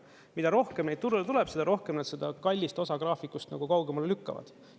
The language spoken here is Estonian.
Mida rohkem neid turule tuleb, seda rohkem nad seda kallist osa graafikust kaugemale lükkavad.